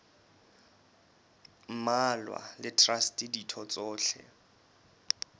mmalwa le traste ditho tsohle